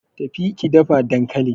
Tafi ki dafa dankalin!